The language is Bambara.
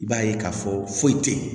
I b'a ye k'a fɔ foyi tɛ yen